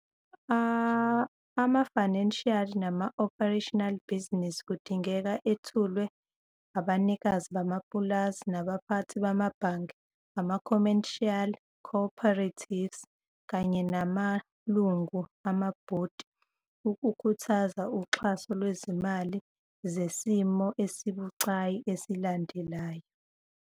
Omunye engabuza ukuthi yini incazelo yomlimi omncane uma kuqhathaniswa nomlimi omkhulu ongenisa inzuzo. Abalimi abaningi bokusanhlamvu bazohlukaniswa babe abalimi bokusanhlamvu, futhi kugcwaliswe ngemfuyo namanye futhi amabhizinisi.